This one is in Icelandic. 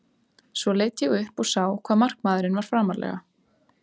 Svo leit ég upp og sá hvað markmaðurinn var framarlega.